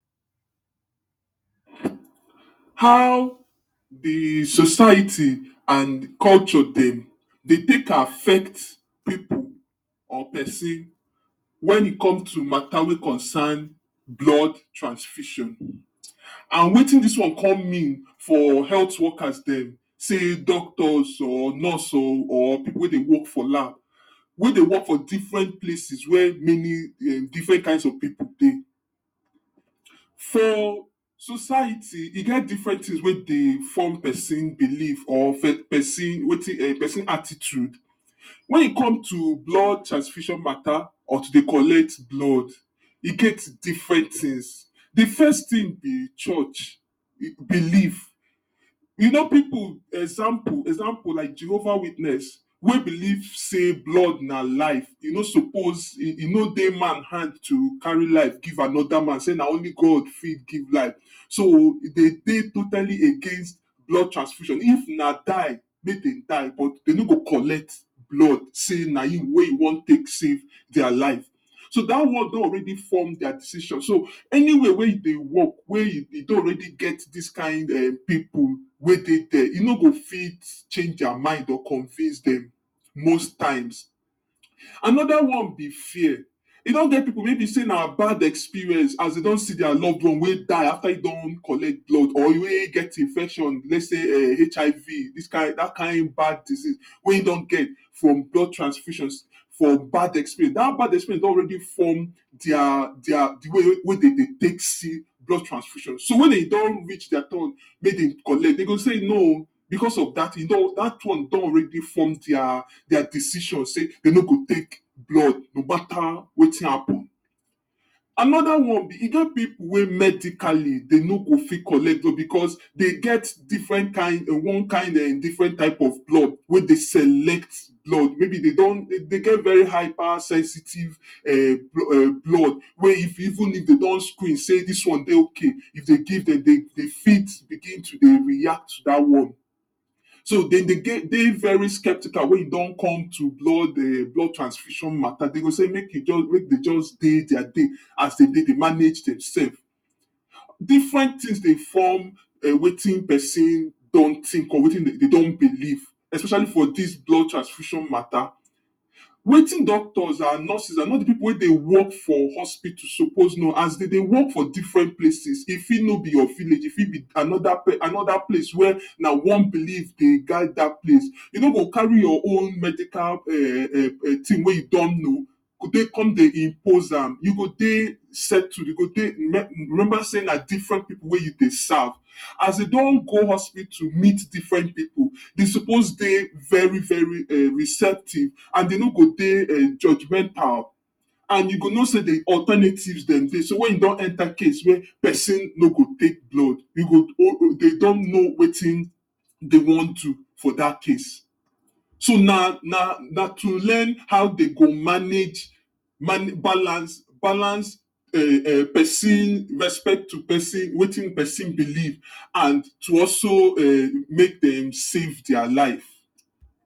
how the society and culture dem dey take affect pipu or pesin when e come to mata wey concern blood transfusion and wetin dis one come mean for healt workers dem sey doctors or nurse o or pipu wey dey work for lab wey dey work for different places wey many um where many different kinds of people dey for society e get different thing wey dey form person belief or um person attitute wen e come to blood transfusion mata or to dey collect blood e get different things the first thing be church, belief e kno people example- example like jehovah witness wey belief sey blood na life e no suppose e no dey man hand to carry life give another man sey na only god fit give life so e dey dey totally against blood tranfusion if na die, mey dey die but dey no go collect blood sey na you wey you wan take safe dia life so da one don already form dia decision so anywhere wey you dey work wey you don already get dis kind[um]people wey dey dia you no go fit change dia mind or to convince dem most another one be fear, e don get people wey be sey na bad experience as dey don see dia loved one wey die after e don collect blood or wey get infection let sey HIV dis kin dat kind bad disease wey e don get from blood transfusion for bad experince dat bad experience don already form dia dia the way wey de dey take see blood ftransfusion so when e don reach dia turn mey dem collect dey go sey no..... because of dat, dat one don already form dia dia decision sey de no go take blood no matter wetin happen another e get people wey medically dey no go fit collcet blood because dey get different kind one kin um differen type of blood wey dey select blood may be dey don dey get very hyper sensitive um blood wey if even if dey don screen sey dis one dey ok if dey give dem dey fit begin to dey react to da one so dem geh dey very sceptical wey e don come to blood um blood transfusion mata dey go sey make dey just dey dia dey as de dey manage demself differen tins dey form wetin um person don think of wetin dey don belief especially for dis blood transfusion mata wetin doctors and nurses and all the people wey dey work for hospital suppose know as de dey work for different places e fit no be your village e fit be another place wey na one belief dey guide da place you no go carry your own medica um thing wey you don know dey take come dey impozam, you go dey settle you go dey remember sey na different people wey you dey serve as you don go hospital meet different people dey suppose dey very very um receptive and you no go dey judgemental and you go know sey the alternative dem dey so wen you don enter case wey person no go take blood you go um demdon know wetin dey wan do for dat case so nana na to learn how dey go manage balance balance um person respect to person wetin person belief and to also um make dem safe dia life